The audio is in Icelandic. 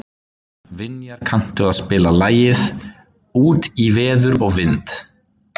Vinjar, kanntu að spila lagið „Út í veður og vind“?